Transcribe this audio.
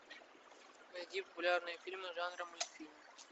найди популярные фильмы жанра мультфильм